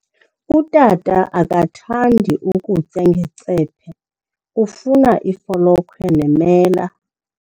Utata akathandi kutya ngecephe, ufuna ifolokhwe nemela.